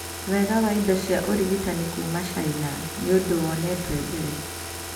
Wega wa indo cia ũrĩgitani kuuma China nĩ ũndũ wonetwe mbere